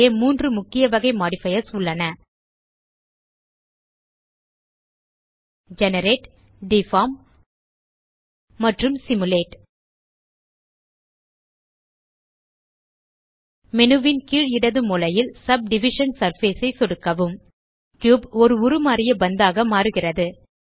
இங்கு மூன்று முக்கிய வகை மாடிஃபயர்ஸ் உள்ளன ஜெனரேட் டிஃபார்ம் மற்றும் சிமுலேட் மேனு ன் கீழ் இடது மூலையில் சப்டிவிஷன் சர்ஃபேஸ் ஐ சொடுக்கவும் கியூப் ஒரு உருமாறிய பந்தாக மாறுகிறது